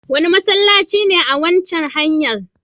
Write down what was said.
Wane masallaci ne a kan waccan hanyar?